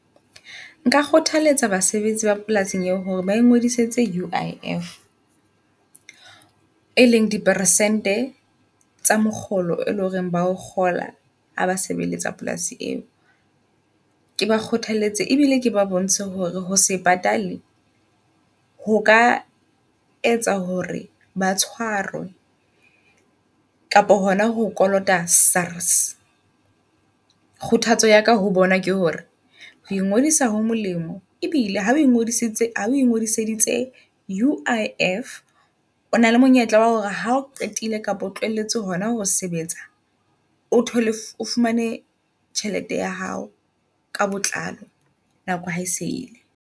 Nka kgothaletsa basebetsi ba polasing eo hore ba ingodisetse U_I_F. E leng di persente tse makgolo, e leng hore ba o kgola ha ba sebeletsa polasi eo. Ke ba kgothaletse ebile ke ba bontshe hore ho se patale hoka etsa hore ba tshwarwe. Kapa hona ho kolota S_A_R_S. Kgothatso yaka ho bona ke hore ho ngodisa ho molemo, ebile ha o ngodisitse ha oe ngodiseditse U_I_F o na le monyetla wa hore ha o qetile kapa o tlohelletse hona ho sebetsa, o thole o fumane tjhelete ya hao. Ka botlalo nako hae se ile.